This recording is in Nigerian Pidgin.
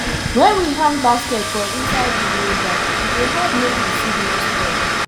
wen we hang basket for inside room wey dark e dey help make di seed nor spoil